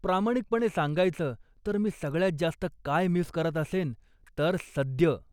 प्रामाणिकपणे सांगायचं, तर मी सगळ्यात जास्त काय मिस करत असेन तर 'सद्य'.